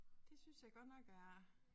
Det synes jeg godt nok er